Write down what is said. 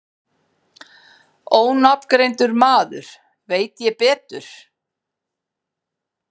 Ónafngreindur maður: Veit ég betur?